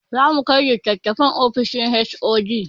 Zamu kai litatafen ofishin HOD